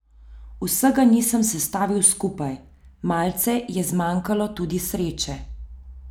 Vsega nisem sestavil skupaj, malce je zmanjkalo tudi sreče.